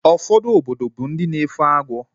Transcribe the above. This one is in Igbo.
Ụfọdụ obodo bụ ndị na-efe agwọ